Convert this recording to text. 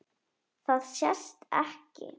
Það sést ekki.